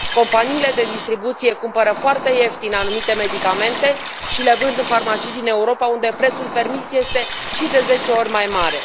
Companiile de distribuție cumpără foarte ieftin anumite medicamente și le vând în farmacii din Europa unde prețul permis este și de zece ori mai mare.